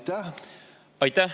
Aitäh!